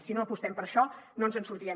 si no apostem per això no ens en sortirem